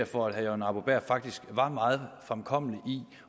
for at herre jørgen arbo bæhr faktisk var meget fremkommelig